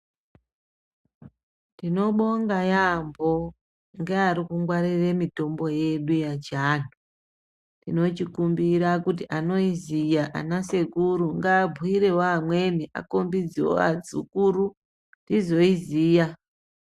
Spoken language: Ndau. Ndinobonga yaampho ngeari kungwarire mitombo yedu yechiantu. Ndinochikumbira kuti anoiziya ana sekuru ngaabhuyirewo amweni akhombidzewo adzukuru tizoiziya.